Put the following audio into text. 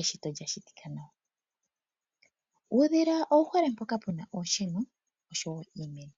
eshito lyashitika nawa. Uudhila owu hole mpoka pu na oonsheno osho wo iimeno